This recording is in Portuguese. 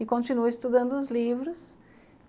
E continua estudando os livros.